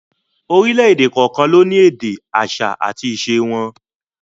Orílẹ̀èdè kọ̀ọ̀kan ló sì ní èdè, àṣà àti ìṣe wọn